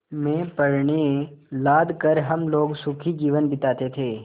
में पण्य लाद कर हम लोग सुखी जीवन बिताते थे